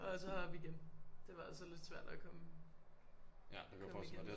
Og så op igen det var altså ldit svært at komme op igen